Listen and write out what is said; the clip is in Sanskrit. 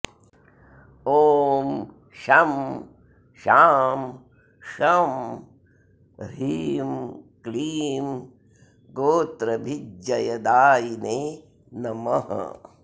ॐ शं शां षं ह्रीं क्लीं गोत्रभिज्जयदायिने नमः